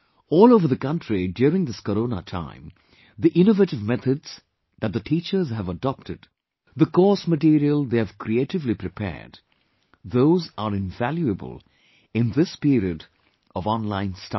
All over the country during this corona time, the innovative methods that the teachers have adopted, the course material they have creatively prepared, is invaluable in this period of online studies